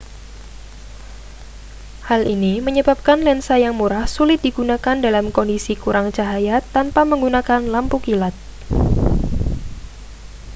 hal ini menyebabkan lensa yang murah sulit digunakan dalam kondisi kurang cahaya tanpa menggunakan lampu kilat